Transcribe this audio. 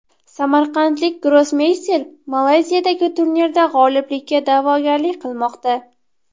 Samarqandlik grossmeyster Malayziyadagi turnirda g‘oliblikka da’vogarlik qilmoqda.